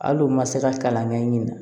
Hali u ma se ka kalan kɛ nin na